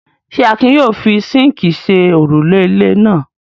Ṣé Akin yóò fi síńkì ṣe òrùlé ilé náà?